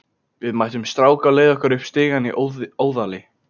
Við mættum strák á leið okkar upp stigann í Óðali.